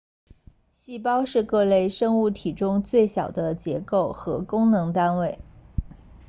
细胞是各类生物体中最小的结构和功能单位